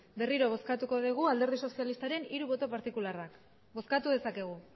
berriro bozkatuko dugu alderdi sozialistaren hiru boto partikularrak bozkatu dezakegu